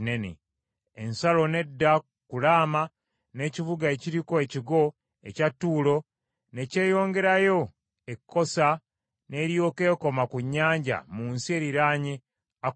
Ensalo n’edda ku Laama n’ekibuga ekiriko ekigo ekya Tuulo ne kyeyongerayo e Kosa n’eryoka ekoma ku nnyanja mu nsi eriraanye Akuzibu,